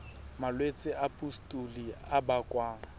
malwetse a pustule a bakwang